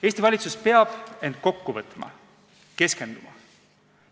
Eesti valitsus peab end kokku võtma, keskenduma.